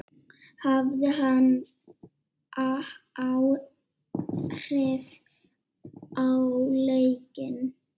Hafði hann áhrif á leikinn?